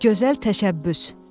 gözəl təşəbbüs.